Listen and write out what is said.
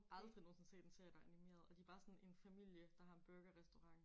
Aldrig nogensinde set en serie der er animeret. Og de bare sådan en familie der har en burgerrestaurant